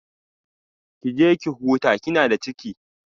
Ki je ki huta kina da ciki